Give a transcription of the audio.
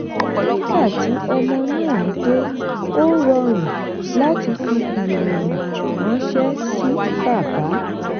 nígbà tí ọmọ náà dé ó rọrùn láti fi ìròyìn ranṣẹ́ sí bàbá.